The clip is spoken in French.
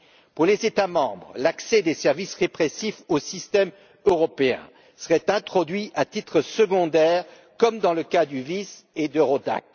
Pour les États membres, l'accès des services répressifs au système européen serait introduit à titre secondaire, comme dans le cas du VIS et d'Eurodac.